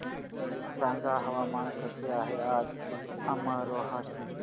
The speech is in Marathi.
सांगा हवामान कसे आहे आज अमरोहा चे